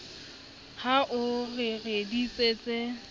ha o re re bitsetse